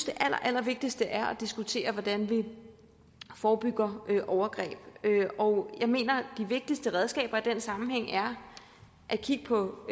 det allervigtigste er at diskutere hvordan vi forebygger overgreb jeg mener at de vigtigste redskaber i den sammenhæng er at kigge på